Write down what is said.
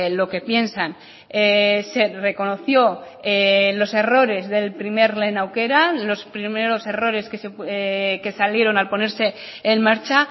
lo que piensan se reconoció los errores del primer lehen aukera los primeros errores que salieron al ponerse en marcha